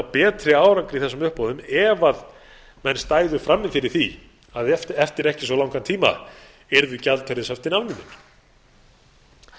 betri árangri í þessum uppboðum ef menn stæðu frammi fyrir því að eftir ekki svo langan tíma yrðu gjaldeyrishöftin afnumin